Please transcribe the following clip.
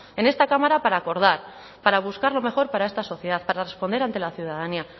en esta cámara para acordar para buscar lo mejor para esta sociedad para responder ante la ciudadanía